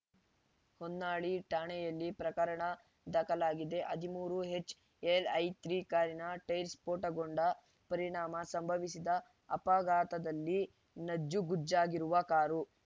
ಹೊನ್ನಾಳಿ ಠಾಣೆಯಲ್ಲಿ ಪ್ರಕರಣ ದಾಖಲಾಗಿದೆ ಹದಿಮೂರು ಎಚ್‌ಎಲ್‌ಐ ತ್ರೀ ಕಾರಿನ ಟೈರ್‌ ಸ್ಫೋಟಗೊಂಡ ಪರಿಣಾಮ ಸಂಭವಿಸಿದ ಅಪಘಾತದಲ್ಲಿ ನಜ್ಜುಗುಜ್ಜಾಗಿರುವ ಕಾರು